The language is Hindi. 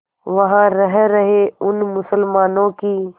वहां रह रहे उन मुसलमानों की